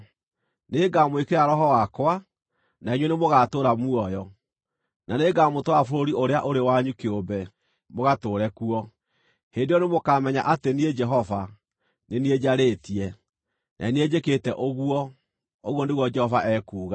Nĩngamwĩkĩra Roho wakwa, na inyuĩ nĩmũgatũũra muoyo, na nĩngamũtwara bũrũri ũrĩa ũrĩ wanyu kĩũmbe mũgatũũre kuo. Hĩndĩ ĩyo nĩmũkamenya atĩ niĩ Jehova nĩ niĩ njarĩtie, na nĩ niĩ njĩkĩte ũguo, ũguo nĩguo Jehova ekuuga.’ ”